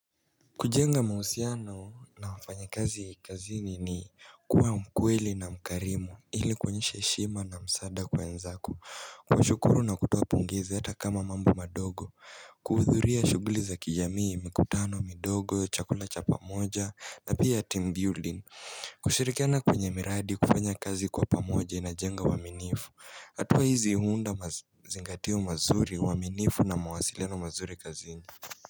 Kujenga mahusiano na wafanyakazi kazini ni kuwa mkweli na mkarimu ili kuonyesha heshima na msaada kwa wenzako. Kushukuru na kutoa pongezi hata kama mambo madogo. Kuhudhuria shughuli za kijamii, mikutano, midogo, chakula cha pamoja na pia team building Kushirikana kwenye miradi kufanya kazi kwa pamoja inajenga uaminifu. Hatua hizi huunda mazingatio mazuri uaminifu na mawasiliano mazuri kazini.